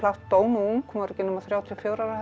dó ung hún var ekki nema þrjátíu og fjögurra ára held